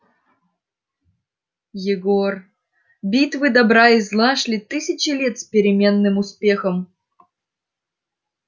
егор битвы добра и зла шли тысячи лет с переменным успехом